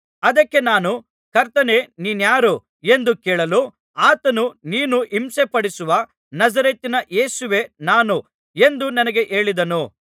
ಅದಕ್ಕೆ ನಾನು ಕರ್ತನೇ ನೀನಾರು ಎಂದು ಕೇಳಲು ಆತನು ನೀನು ಹಿಂಸೆಪಡಿಸುವ ನಜರೇತಿನ ಯೇಸುವೇ ನಾನು ಎಂದು ನನಗೆ ಹೇಳಿದನು